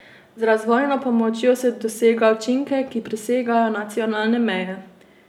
Z razvojno pomočjo se dosega učinke, ki presegajo nacionalne meje.